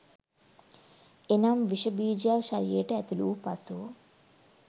එනම් විශ බීජයක් ශරීරයට ඇතුළුවූ පසු